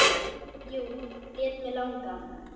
Jú, lét mig langa.